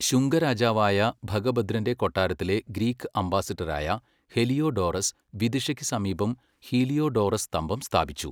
ശുംഗ രാജാവായ ഭഗഭദ്രന്റെ കൊട്ടാരത്തിലെ ഗ്രീക്ക് അംബാസഡറായ ഹെലിയോഡോറസ് വിദിഷയ്ക്ക് സമീപം ഹീലിയോഡോറസ് സ്തംഭം സ്ഥാപിച്ചു.